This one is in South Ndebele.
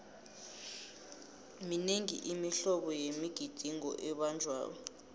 minengi imihlobo yemigidingo ebanjwako